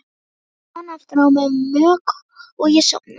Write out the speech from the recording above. Svo rann aftur á mig mók og ég sofnaði.